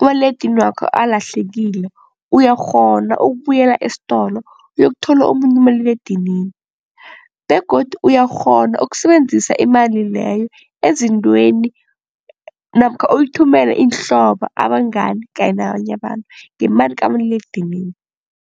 umaliledinini wakho alahlekile uyakghona ukubuyela esitolo uyokuthola omunye umaliledinini begodu uyakghona ukusebenzisa imali leyo ezintweni namkha uyithumele iinhlobo abangani kanye nabanye abantu ngemali kamaliledinini.